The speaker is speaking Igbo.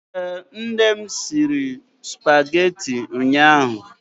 Ee, nne m siri supageti ụnyaahụ.